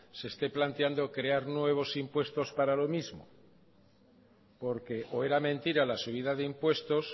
se esté planteando crear nuevos impuestos para lo mismo porque o era mentira la subida de impuestos